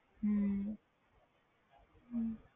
ਹੂੰ